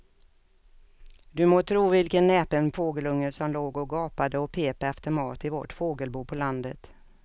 Du må tro vilken näpen fågelunge som låg och gapade och pep efter mat i vårt fågelbo på landet.